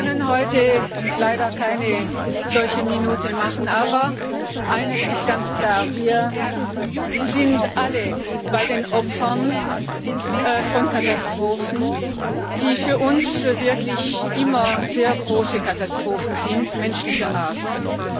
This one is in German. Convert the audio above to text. Wir können heute leider keine solche Schweigeminute machen, aber eines ist ganz klar Wir sind alle bei den Opfern von Katastrophen, die für uns wirklich immer sehr große Katastrophen menschlicher Art sind.